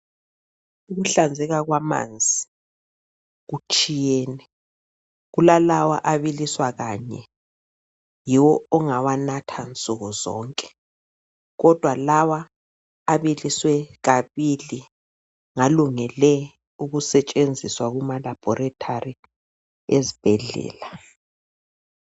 Ukuhlanzeka kwamanzi kutshiyene, kulalawo abiliswa kanye, yiwo ongawanatha nsukuzonke, kodwa lawa abiliswe kabili ngalungele kusetshenziswa kuma Laboratory ezibhedlela.